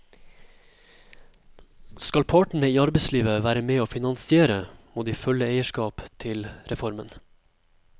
Skal partene i arbeidslivet være med og finansiere, må de føle eierskap til reformen.